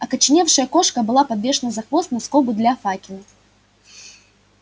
окоченевшая кошка была подвешена за хвост на скобу для факела